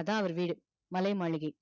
அதா அவர் வீடு மலை மாளிகை